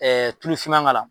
tulufinma k'a la.